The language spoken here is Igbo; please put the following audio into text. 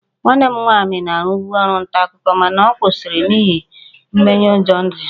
Nwanne m nwaanyị na-arụbu ọrụ nta akụkọ mana ọ kwụsịrị n'ihi mmenyeụjọ ndụ ya